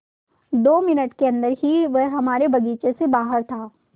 दो मिनट के अन्दर ही वह हमारे बगीचे से बाहर था